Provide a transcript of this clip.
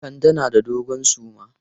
Kande na da dogon suma.